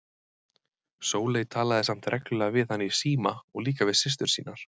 Sóley talaði samt reglulega við hann í síma og líka við systur sínar.